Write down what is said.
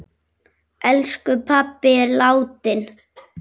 Elsku pabbi er látinn.